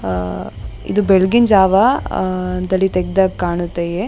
ಅಹ್ ಅಹ್ ಇದು ಬೆಳಗಿನ್ ಜಾವ ದಲ್ಲಿ ತೇಗಿದಾಗ್ ಕಾಣುತ್ತೆ .